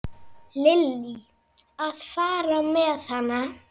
Lillý: Að fara með hana?